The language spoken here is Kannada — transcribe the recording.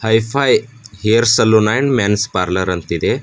High pie hair salon and men's parlour ಅಂತಿದೆ.